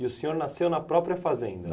E o senhor nasceu na própria fazenda?